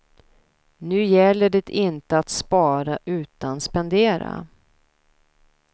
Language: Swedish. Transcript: Nu gäller det inte att spara utan spendera.